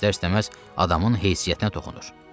İstər-istəməz adamın heysiyyətinə toxunur.